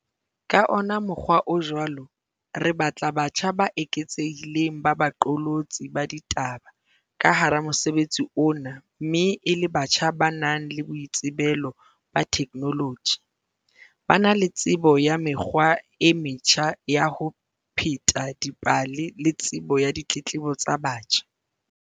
Ka ona mokgwa o jwalo, re batla batjha ba eketsehileng ba baqolotsi ba ditaba ka hara mosebetsi ona mme e le batjha ba nang le boitsebelo ba theknoloji, ba na le tsebo ya mekgwa e metjha ya ho pheta dipale le tsebo ya ditletlebo tsa batjha.